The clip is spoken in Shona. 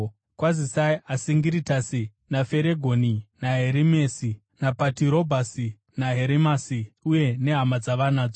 Kwazisai Asingiritasi, naFeregoni, naHerimesi, naPatirobhasi, naHerimasi, uye nehama dzavanadzo.